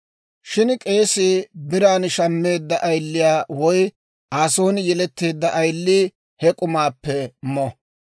Shin k'eesii bare biran shammeedda ayiliyaa woy Aa son yeletteedda ayilii he k'umaappe mo.